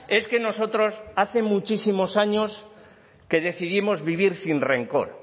es que nosotros hace muchísimos años que decidimos vivir sin rencor